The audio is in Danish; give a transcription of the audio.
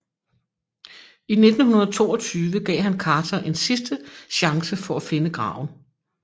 I 1922 gav han Carter en sidste chance for at finde graven